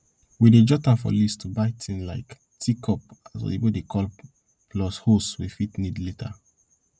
we dey jot am for list to buy tin like teacup as oyibo dey call plus hose we fit need later